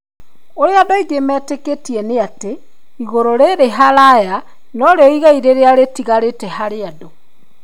Ũrĩa andũ aingĩ metĩkĩtie nĩ atĩ igũrũ rĩrĩ haraya norĩo igai rĩrĩa rĩtigarĩte harĩ andũ.